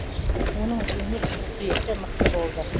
оның өмір үшін күресі мықты болды